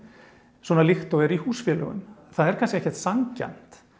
svona líkt og er í húsfélögum það er kannski ekkert sanngjarnt